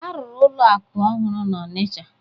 A rụrụ ụlọ akụ ọhụrụ n'Ọnịcha.